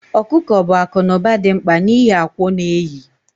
Okuko bụ akụ na ụba dị mkpa n'ihi akwa ọ na-eyi